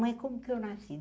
Mãe, como que eu nasci?